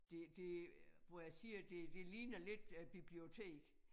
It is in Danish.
Det det hvor jeg siger det det ligner lidt æ bibliotek